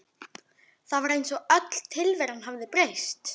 Það var eins og öll tilveran hefði breyst.